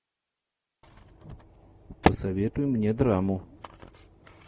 посоветуй мне драму